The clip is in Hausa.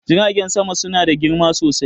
jiragen sama suna da girma sosai